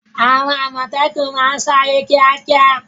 Àwọn àmọ̀tẹ́kùn máa ń sáré kíákíá.